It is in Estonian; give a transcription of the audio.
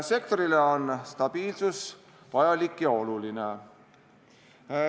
Sektorile on stabiilsus vajalik ja oluline.